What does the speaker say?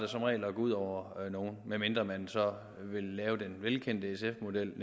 som regel at gå ud over nogle medmindre man vil lave den velkendte sf model